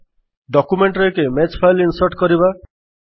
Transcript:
document ରେ ଏକ image file insert କରିବା